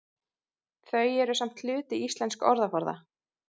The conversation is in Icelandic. Þau eru samt hluti íslensks orðaforða.